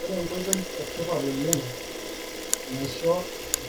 Ore enkoitoi etipat oleng naisho